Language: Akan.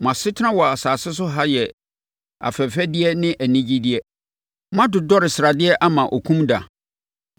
Mo asetena wɔ asase so ha yɛ afɛfɛdeɛ ne anigyeɛ. Moadodɔre sradeɛ ama okum da.